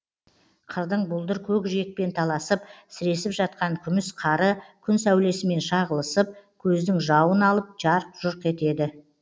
қырдың бұлдыр көкжиекпен таласып сіресіп жатқан күміс қары күн сәулесімен шағылысып көздің жауын алып жарқ жұрқ етеді